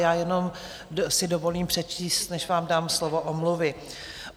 Já jenom si dovolím přečíst, než vám dám slovo, omluvy.